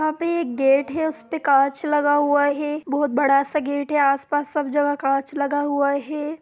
यहा पे एक गेट है उस पे कांच लगा हुआ है| बहुत बड़ा सा गेट है| आसपास सब जगह कांच लगा हुआ है।